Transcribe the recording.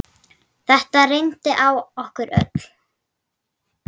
Þetta reyndi á okkur öll.